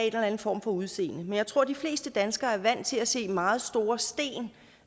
eller anden form for udseende men jeg tror at de fleste danskere er vant til at se meget store sten